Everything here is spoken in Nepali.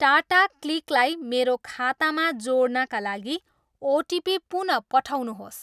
टाटा क्लिकलाई मेरो खातामा जोड्नाका लागि ओटिपी पुन पठाउनुहोस्।